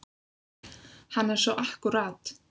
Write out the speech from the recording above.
Hann er svo akkúrat.